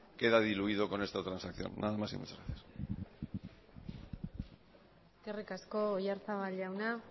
queda diluido con esta transacción nada más y muchas gracias eskerrik asko oyarzabal jauna